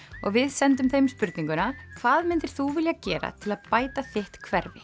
og við sendum þeim spurninguna hvað myndir þú vilja gera til að bæta þitt hverfi